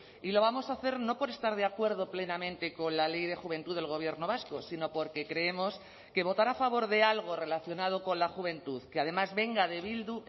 y lo vamos a hacer no por estar de acuerdo plenamente con la ley de juventud del gobierno vasco sino porque creemos que votará a favor de algo relacionado con la juventud que además venga de bildu